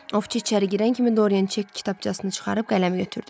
Ovçu içəri girən kimi Doryan çek kitabçasını çıxarıb qələmi götürdü.